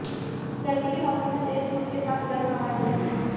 गर्मी के मौसम में तेज धूप के साथ गर्म हवाएं चलती हैं